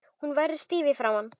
Hún verður stíf í framan.